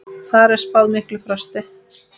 Þar er spáð miklu frosti.